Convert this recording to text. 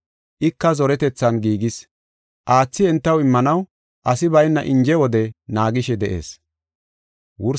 Ika zoretethan giigis. Aathi entaw immanaw asi bayna inje wode naagishe de7ees.